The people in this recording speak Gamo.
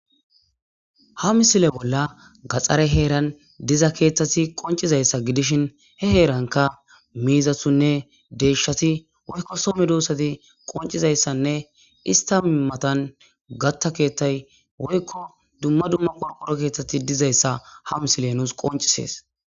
Ha misile bolla gaxare heeran diza keethati qoncizaysa gidishino he heranka miizatinne deyshati woyko so medosati qoncizaysanne ista matan katha keethay woylo duma duma qorqoro keethay dizaysa ha misiley nuyo qoncisses